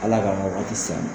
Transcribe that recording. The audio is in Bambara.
Ala kama o kan tɛ sa.